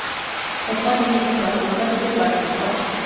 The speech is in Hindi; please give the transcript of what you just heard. सपा ने इस बार उनका टिकट काट दिया था